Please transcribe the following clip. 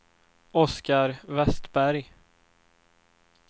Oscar Westberg